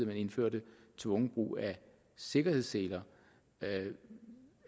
man indførte tvungen brug af sikkerhedsseler at